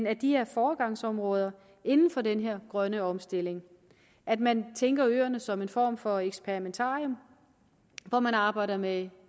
at de er foregangsområde inden for den her grønne omstilling at man tænker øerne som en form for eksperimentarium hvor man arbejder med